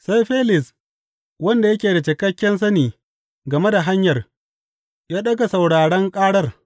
Sai Felis, wanda yake da cikakken sani game da Hanyar, ya ɗaga sauraron ƙarar.